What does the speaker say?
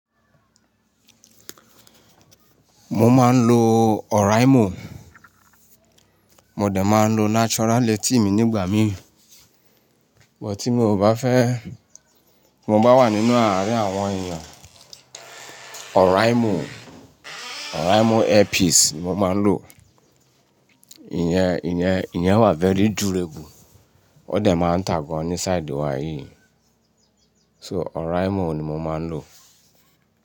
Mo máa ń lo Oraimo, mo dẹ̀ máa ń lo Natural eti mi nígbà mí, bọ̀ tí mo ò bá fẹ́, mo bá wà nínú àárín àwọn èèyàn Oraimo, Oraimo earpiece ni mo máa ń lò. Ìyẹn, ìyẹn. Ìyẹn wà very durable. Ó dẹ̀ máa ń tàa gan ní side wa yìí. So Oraimo ni mo máa ń lò.